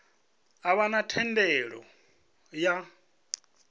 a vha na thendelo ya